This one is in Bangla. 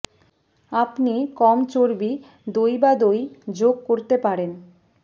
আপনি কম চর্বি দই বা দই যোগ করতে পারেন